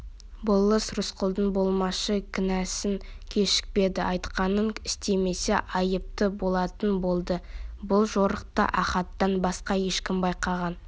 болыс рысқұлдың болмашы кінәсін кешпеді айтқанын істемесе айыпты болатын болды бұл жорықты ахаттан басқа ешкім байқаған